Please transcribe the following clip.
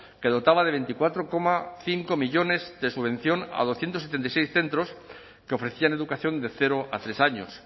que dotaba de veinticuatro coma cinco millónes de subvención a doscientos setenta y seis centros que ofrecían educación de cero a tres años